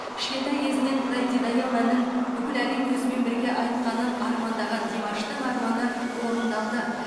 кішкентай кезінен дайдидай ау әнін бүкіл әлем өзімен бірге айтқанын армандаған димаштың арманы орындалды